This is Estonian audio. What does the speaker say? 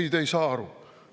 Ei, te ei saa aru.